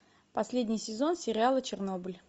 последний сезон сериала чернобыль